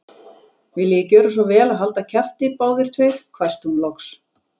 Viljiði gjöra svo vel að halda kjafti, báðir tveir hvæsti hún loks.